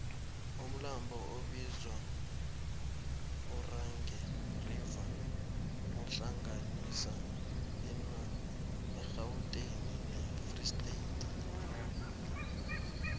umlambo obizwangeorange river uhlanganisa irhawuteni nefree state